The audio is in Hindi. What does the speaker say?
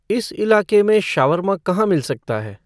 इस इलाक़े में शवरमा कहाँ मिल सकता है